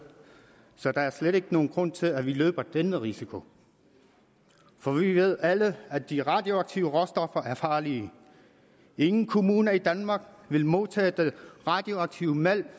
så der er slet ikke nogen grund til at vi løber denne risiko for vi ved alle at de radioaktive råstoffer er farlige ingen kommuner i danmark vil modtage den radioaktive malm